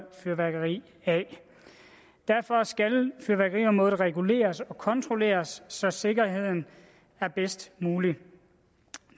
fyrværkeri af derfor skal fyrværkeriområdet reguleres og kontrolleres så sikkerheden er bedst mulig